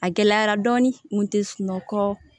A gɛlɛyara dɔɔni tɛ sunɔgɔ